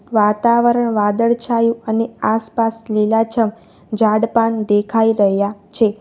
વાતાવરણ વાદળછાયુ અને આસપાસ લીલાછમ ઝાડપાન દેખાઈ રહ્યા છે.